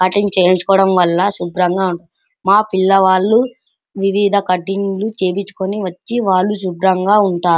cutting చేయించున్నవాళ్ళ శుభ్రంగా మా పిల్లవాలు వివిధ కటింగ్ చేపించుకొని వచ్చి వాలు శుభ్రాంగా ఉంటారు --